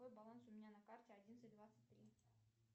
какой баланс у меня на карте одиннадцать двадцать три